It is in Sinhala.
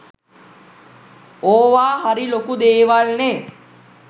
ඕවා හරි ලොකු දේවල්නෙ.